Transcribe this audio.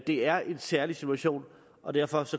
det er en særlig situation og derfor